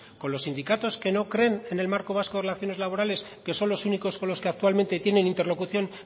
con los sindicatos que no creen en el marco vasco de relaciones laborales que son los únicos con los que actualmente tienen interlocución